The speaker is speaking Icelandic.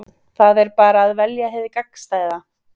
Það er bara að velja hið gagnstæða.